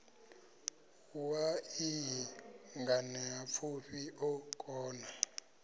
wa iyi nganeapfufhi o kona